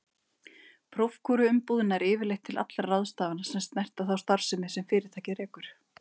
Prókúruumboð nær yfirleitt til allra ráðstafana sem snerta þá starfsemi sem fyrirtækið rekur.